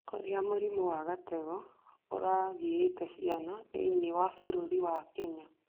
Ũrĩa mũrimũ wa gatego ũragĩte ciana thĩinĩ wa Kenya